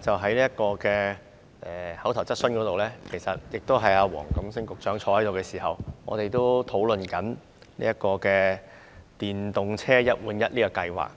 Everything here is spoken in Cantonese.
昨天的口頭質詢環節，出席及回應的同樣是黃錦星局長，而我們也曾討論電動車"一換一"計劃。